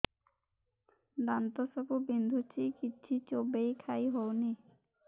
ଦାନ୍ତ ସବୁ ବିନ୍ଧୁଛି କିଛି ଚୋବେଇ ଖାଇ ହଉନି